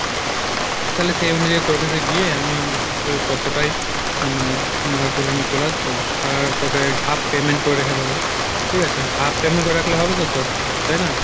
তালে সেই অনুযায় তোর কাছে গিয়ে আমি আহ ততটাই আহ মানে মাল তুলে নিয়ে চলে আসবো আর তোকে half payment করে রেখো দেবো, ঠিক আছে? half payment করে রাখলে হবে তো তোর, তাই না?